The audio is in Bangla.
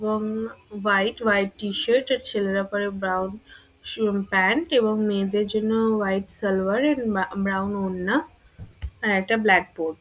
এবং hmm- white white T shirt আর ছেলেরা পরে ব্রাউন স- প্যান্ট এবং মেয়েদের জন্য উম- হোয়াইট সালোয়ার ব্রা- ব্রাউন ওড়না আর একটা ব্ল্যাক বোর্ড ।